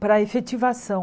para efetivação.